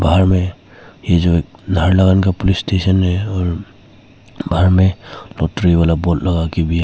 बाहर में एक नाहरलागुन पुलिस स्टेशन और बाहर में एक बोर्ड है।